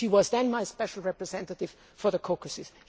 She was then my special representative for the Caucasus.